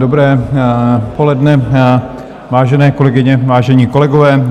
Dobré poledne, vážené kolegyně, vážení kolegové.